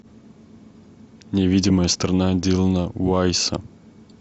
невидимая сторона дилона уайса